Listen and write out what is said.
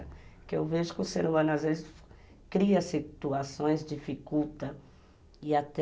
Porque eu vejo que o ser humano, às vezes, cria situações dificultas e até...